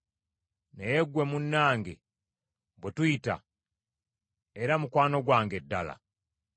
Naye ggwe munnange, bwe tuyita, era mukwano gwange ddala!